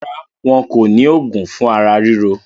Rárá, wọn kò ní òògùn fún ara ríro.